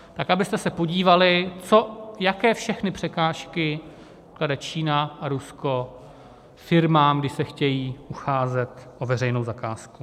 Tak abyste se podívali, jaké všechny překážky klade Čína a Rusko firmám, když se chtějí ucházet o veřejnou zakázku.